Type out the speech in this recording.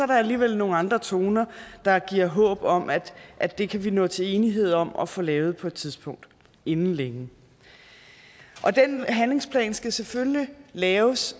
der alligevel nogle andre toner der giver håb om at at det kan vi nå til enighed om at få lavet på et tidspunkt inden længe den handlingsplan skal selvfølgelig laves